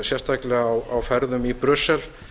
sérstaklega á ferðum í brussel